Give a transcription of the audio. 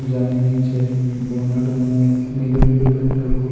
जा में नीचे बोनट में नीलो नीलो पेंट है वो --